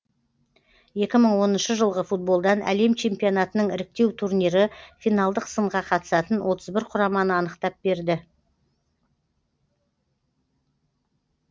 екі мың оныншы жылғы футболдан әлем чемпионатының іріктеу турнирі финалдық сынға қатысатын отыз бір құраманы анықтап берді